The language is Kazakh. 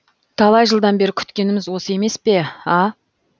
талай жылдан бері күткеніміз осы емес пе а